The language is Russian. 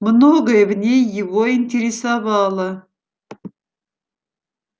многое в ней его интересовало